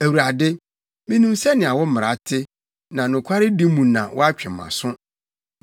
Awurade, minim sɛnea wo mmara te, na nokwaredi mu na woatwe mʼaso.